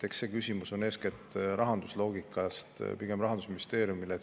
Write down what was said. Eks see küsimus on, eeskätt rahandusloogikast lähtudes, pigem Rahandusministeeriumile.